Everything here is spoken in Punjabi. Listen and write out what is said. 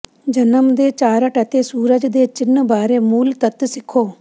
ਜਨਮ ਦੇ ਚਾਰਟ ਅਤੇ ਸੂਰਜ ਦੇ ਚਿੰਨ੍ਹ ਬਾਰੇ ਮੂਲ ਤੱਤ ਸਿੱਖੋ